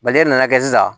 e nana kɛ sisan